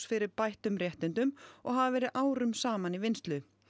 fyrir bættum réttindum og hafa verið árum saman í vinnslu